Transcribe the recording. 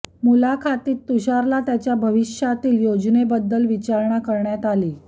मुलाखतीत तुषारला त्याच्या भविष्यातील योजनेबद्दल विचारणा करण्यात आली